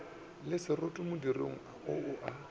le seroto modirong o a